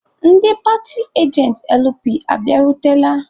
Ndị paatị ajentị LP abịarutela?